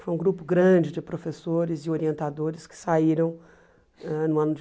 Foi um grupo grande de professores e orientadores que saíram ãh no ano de